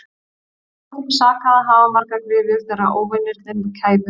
Það gat ekki sakað að hafa margar gryfjur þegar óvinirnir kæmu.